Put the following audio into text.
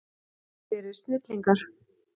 Þið eruð snillingar.